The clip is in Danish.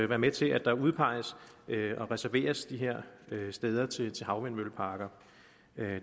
være med til at der udpeges og reserveres de her steder til havvindmølleparker